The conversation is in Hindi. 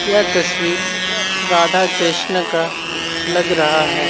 यह तस्वीर राधा कृष्णा का लग रहा है।